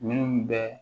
Minnu bɛ